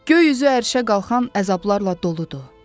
Göy üzü ərşə qalxan əzablarla doludur.